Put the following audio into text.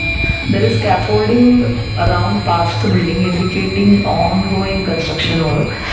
There is holding around parts the building indicating on going construction work.